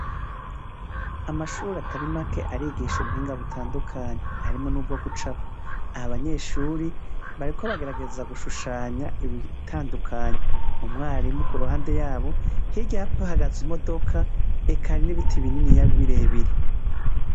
Amashure atari make arigisha ubuhinga butandukanye, harimwo n'ubwo gucapa. Aha abanyeshuri bariko bagerageza gushushanya ibitandukanye. Umwarimu ku ruhande yabo, hirya hahagaze imodoka, eka n'ibiti bininiya birebire.